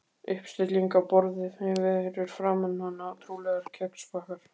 Uppstilling á borði fyrir framan hana, trúlega kexpakkar.